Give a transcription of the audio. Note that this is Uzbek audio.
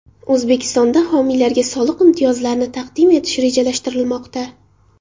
O‘zbekistonda homiylarga soliq imtiyozlarini taqdim etish rejalashtirilmoqda.